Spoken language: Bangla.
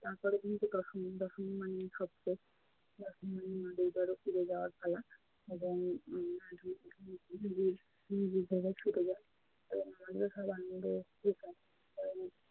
তারপরের দিন তো দশমী। দশমী মানেই সব শেষ। দশমী মানেই মানে ধরো ফিরে যাওয়ার পালা এবং নিজের নিজের জায়গায় ছুটে যাওয়া আমাদেরও সব আনন্দের